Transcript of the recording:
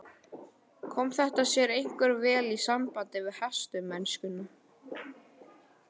Kom þetta sér einkar vel í sambandi við hestamennskuna.